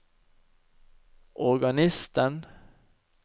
organisten